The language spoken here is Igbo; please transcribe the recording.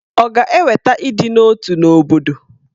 Ọ̀ ga-eweta ịdị n'otu n'obodo?